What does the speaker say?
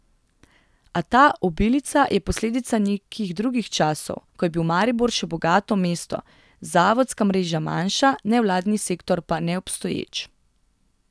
A ta obilica je posledica nekih drugih časov, ko je bil Maribor še bogato mesto, zavodska mreža manjša, nevladni sektor pa neobstoječ.